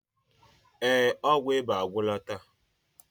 Ee, ọgwụ ịba agwụla taa.